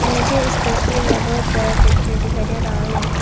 मुझे इस तस्वीर में बहुत बड़ा फैक्ट्री दिखाई दे रहा है।